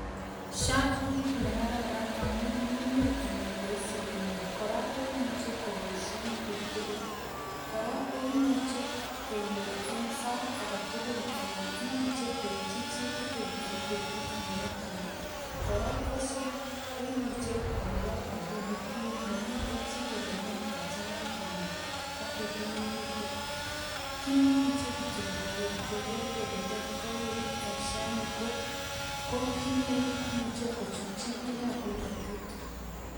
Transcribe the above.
SHA ko kit negararan amun nyumnyum anan roisi kenyoru kora koimuchi koboisie pik tugul, kora koimuchi kenyoru en sait age tugul anan imuche koitchi chitugul en betut nemokchingei, kora ko SHA koimuche kolipan ropinik tugul mamiten chelelen kachanga Alan katuti ginitu kit nemuchin kityo keker kole tos kouit en SHA ko kit nemuche kochutchi pik ap polotet